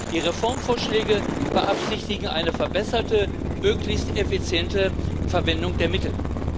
Die Reformvorschläge beabsichtigen eine verbesserte, möglichst effiziente Verwendung der Mittel.